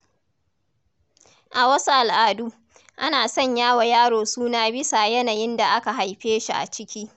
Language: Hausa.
A wasu al’adu, ana sanya wa yaro suna bisa yanayin da aka haife shi a ciki.